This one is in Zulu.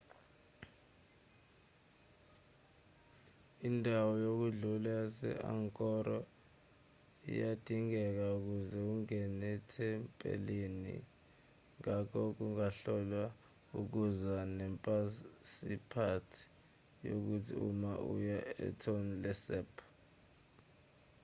indawo yokudlula yase-angkor iyadingeka ukuze ungene ethempelini ngakho ungakhohlwa ukuza nephasiphothi yakho uma uya etonle sap